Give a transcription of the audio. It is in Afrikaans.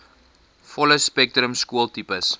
volle spektrum skooltipes